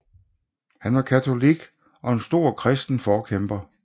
Han var katolik og en stor kristen forkæmper